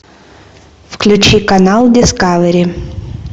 включи канал дискавери